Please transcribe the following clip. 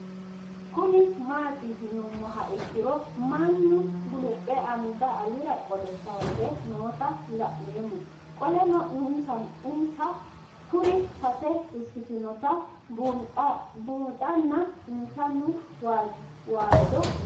Kuni mati yinumoha ikiro mannu gulupe anga alira qole kayise noota la'nemo qoleno insa kiiro sase ikinotana bunxana insano waajo